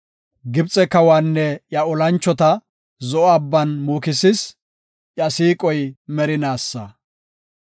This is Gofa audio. Gibxe kawanne iya olanchota Zo7o Abban muukisis; iya siiqoy merinaasa.